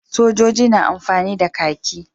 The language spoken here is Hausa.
Sojoji na amfani da kahki.